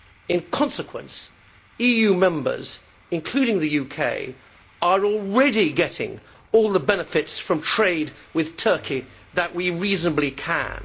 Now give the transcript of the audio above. In consequence, EU Members, including the UK, are already getting all the benefits from trade with Turkey that we reasonably can.